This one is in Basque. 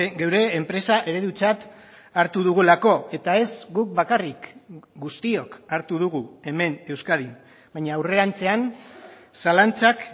geure enpresa eredutzat hartu dugulako eta ez guk bakarrik guztiok hartu dugu hemen euskadin baina aurrerantzean zalantzak